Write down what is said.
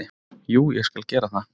Jú, ég skal gera það.